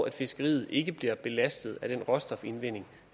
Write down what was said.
at fiskeriet ikke bliver belastet af den råstofindvinding